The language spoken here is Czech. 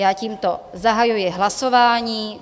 Já tímto zahajuji hlasování.